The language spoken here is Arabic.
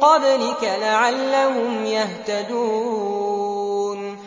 قَبْلِكَ لَعَلَّهُمْ يَهْتَدُونَ